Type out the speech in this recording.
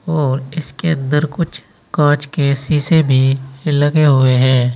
और इसके अंदर कुछ कांच के शीशे भी लगे हुए हैं।